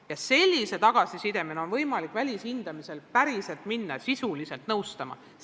Ja sellise tagasiside alusel on võimalik välishindamise käigus minna koole sisuliselt nõustama.